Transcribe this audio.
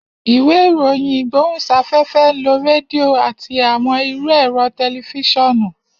Iwe iroyin igbohunsafefe nlo redio ati awọn iru ẹrọ tẹlifisiọnu.